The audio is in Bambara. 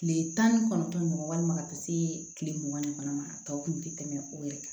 Tile tan ni kɔnɔntɔn ni mugan walima ka taa se kile mugan ni fila ma tɔw kun ti tɛmɛ o yɛrɛ kan